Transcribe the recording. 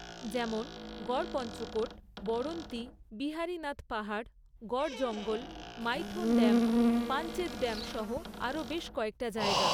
যেমন গড়পঞ্চকোট, বড়ন্তি, বিহারীনাথ পাহাড়, Garh Jangal, Maithon dam, Panchet dam সহ আরো বেশ কয়েকটা জায়গা।